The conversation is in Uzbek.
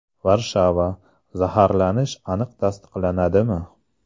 Varshava: Zaharlanish aniq tasdiqlanadimi?